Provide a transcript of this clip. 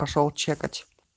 пошёл чекать